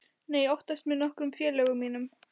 Nei, oftast með nokkrum félögum mínum.